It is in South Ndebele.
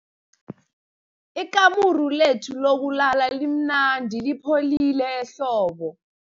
Ikamuru lethu lokulala limnandi lipholile ehlobo.